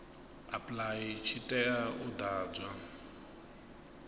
apply tshi tea u ḓadzwa